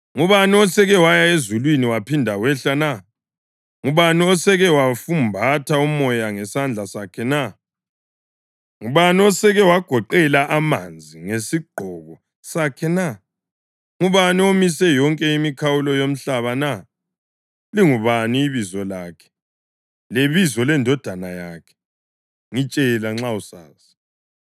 Ngubani oseke waya ezulwini waphinda wehla na? Ngubani oseke wafumbatha umoya ngesandla sakhe na? Ngubani oseke wagoqela amanzi ngesigqoko sakhe na? Ngubani omise yonke imikhawulo yomhlaba na? Lingubani ibizo lakhe, lebizo lendodana yakhe? Ngitshela nxa usazi!